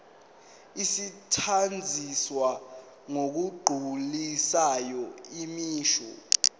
asetshenziswa ngokugculisayo imisho